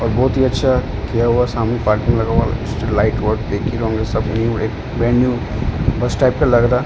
और बहुत ही अच्छा किया हुआ है सामने पार्किंग लगा हुआ है बस टाइप का लग रहा।